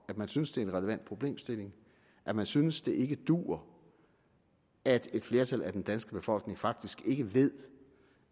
at man synes det er en relevant problemstilling at man synes det ikke duer at et flertal af den danske befolkning faktisk ikke ved